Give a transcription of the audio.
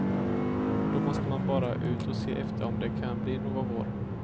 Då måste man bara ut och se efter om det kan bli någon vår.